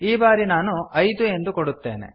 ಈ ಬಾರಿ ನಾನು ಐದು ಎಂದು ಕೊಡುತ್ತೇನೆ